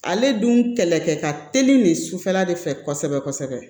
Ale dun kɛlɛkɛ ka teli nin sufɛla de fɛ kosɛbɛ kosɛbɛ